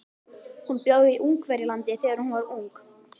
Hún bjó í Ungverjalandi þegar hún var ung.